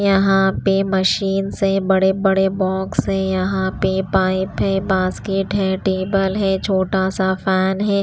यहाँ पे मशीन से बड़े-बड़े बॉक्स है यहाँ पे पाइप है बास्केट है टेबल है छोटा सा फैन है।